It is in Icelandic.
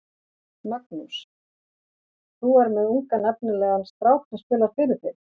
Magnús: Þú er með ungan efnilegan strák sem spilar fyrir þig?